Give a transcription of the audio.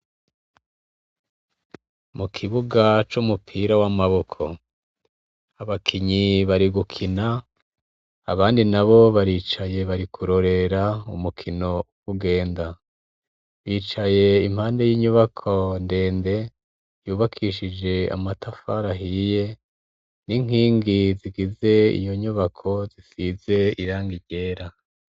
Mu kibuga c'umupira w'amaboko abakinyi bari gukina, abandi nabo baricaye bari kurorera umukino uko ugenda. Bicaye impande y'inyubako ndende, yubakishije amatafari ahiye n'inkingi zigize iyo nyubako zisize irangigi ryera.